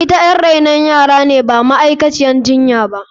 Ita yar renon yara ce ba ma’aikaciyar jinya ba.